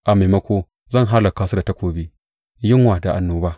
A maimako zan hallaka su da takobi, yunwa da annoba.